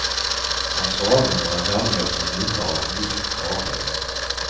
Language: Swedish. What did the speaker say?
Han svalde några dammiga små bitar av en mjuk kaka.